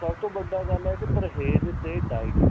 ਸਭ ਤੋਂ ਵੱਡਾ ਗੱਲ ਏ ਵੀ ਪਰਹੇਜ ਤੇ diet